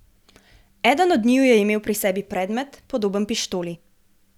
Eden od njiju je imel pri sebi predmet, podoben pištoli.